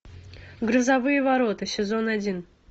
грозовые ворота сезон один